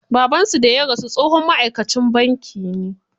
Babansu da ya rasu tsohon ma'aikacin banki ne.